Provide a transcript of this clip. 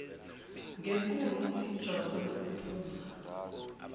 ngenkulu injabulo kuphumla